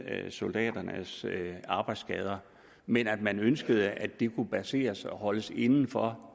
soldaternes arbejdsskader men at man ønskede at det kunne basere sig og holdes inden for